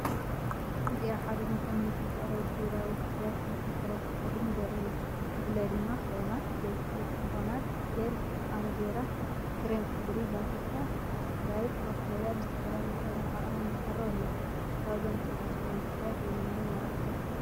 እዚ ኣብ ሓደ ድኳን ንምርኢት ዝቐረቡ ግብራዊ ፍርያት ክንክን ቆርበትን ጸጉርን ዘርኢ እዩ። ብፍላይ ድማ ክሬማት፣ ዘይቲ ኮኮናት፣ ጀል ኣሎቬራ፣ ክሬም ጸጉሪ ቫቲካ፣ ስክራብ ፓፓያ ብዝተፈላለየ ሕብርን ዓቐንን ይቐርብ ኣሎ። ካብዞም ንጸጉሪ ዝኸውን ፍርያት ኣየናይ ምመረጽካ?